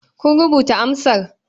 Kun rubuta amsar?